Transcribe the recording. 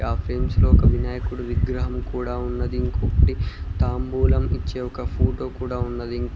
ఆ ఫ్రేమ్స్ లో ఒక వినాయకుడు విగ్రహం కూడా ఉన్నది ఇంకొకటి తాంబూలం ఇచ్చే ఒక ఫోటో కూడా ఉన్నది ఇం --